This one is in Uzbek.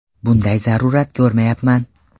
Bunday zarurat ko‘rmayapman.